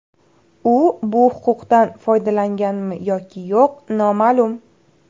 U bu huquqdan foydalanganmi yoki yo‘q noma’lum.